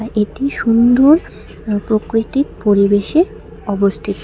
এটি সুন্দর প্রকৃতিক পরিবেশে অবস্থিত।